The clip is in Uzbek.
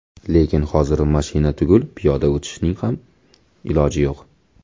Lekin hozir mashina tugul piyoda o‘tishning ham iloji yo‘q.